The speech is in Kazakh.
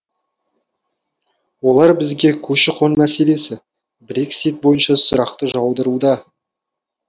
олар бізге көші қон мәселесі брексит бойынша сұрақты жаудыруда